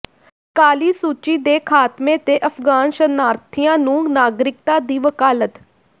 ਕਾਲੀ ਸੂਚੀ ਦੇ ਖ਼ਾਤਮੇ ਤੇ ਅਫ਼ਗਾਨ ਸ਼ਰਨਾਰਥੀਆਂ ਨੂੰ ਨਾਗਰਿਕਤਾ ਦੀ ਵਕਾਲਤ